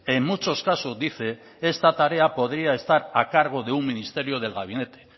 en muchos casos dice esta tarea podría estar a cargo de un ministerio del gabinete